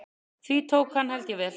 Því tók hann held ég vel.